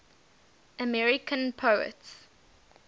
american poets